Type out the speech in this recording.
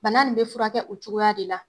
Bana nin be furakɛ o cogoya de la.